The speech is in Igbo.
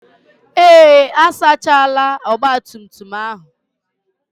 Ee, asachaala ọgbatumtum ahụ.